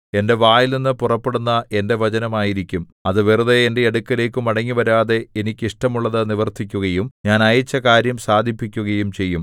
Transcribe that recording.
എന്റെ വായിൽനിന്നു പുറപ്പെടുന്ന എന്റെ വചനം ആയിരിക്കും അത് വെറുതെ എന്റെ അടുക്കലേക്ക് മടങ്ങിവരാതെ എനിക്ക് ഇഷ്ടമുള്ളതു നിവർത്തിക്കുകയും ഞാൻ അയച്ച കാര്യം സാധിപ്പിക്കുകയും ചെയ്യും